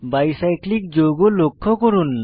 by cyclic যৌগ লক্ষ্য করুন